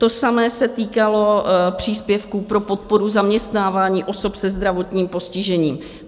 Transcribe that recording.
To samé se týkalo příspěvků pro podporu zaměstnávání osob se zdravotním postižením.